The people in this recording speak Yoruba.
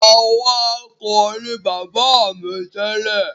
Awakọ̀ ní bàbá mi tẹ́lẹ̀.